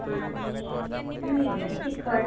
आणि मीठ, तिखट.